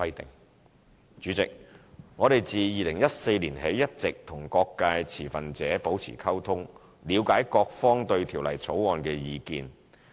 代理主席，我們自2014年起一直與各界持份者保持溝通，了解各方對《條例草案》的意見。